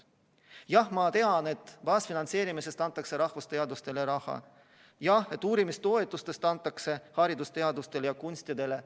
Jah, ma tean, et baasfinantseerimisest antakse rahvusteadustele raha, uurimistoetustest antakse raha haridusteadustele ja kunstidele.